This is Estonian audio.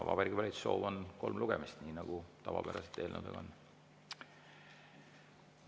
Vabariigi Valitsuse soov on kolm lugemist, nii nagu tavapäraselt eelnõudel on.